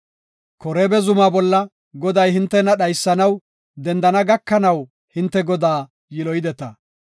Koreeba zumaa bolla Goday hintena dhaysanaw dendana gakanaw hinte Godaa yiloyideta.